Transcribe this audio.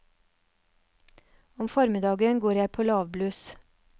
Om formiddagen går jeg på lavbluss.